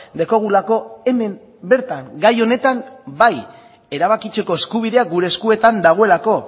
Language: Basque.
daukagulako hemen bertan gai honetan bai erabakitzeko eskubidea gure eskuetan dagoelako